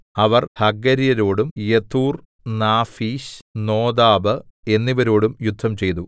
അവർ ഹഗര്യരോടും Jetur Naphish Nodab എന്നിവരോടും യുദ്ധംചെയ്തു